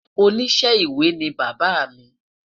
oníṣe ìwé ni bàbá mí